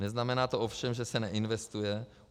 Neznamená to ovšem, že se neinvestuje.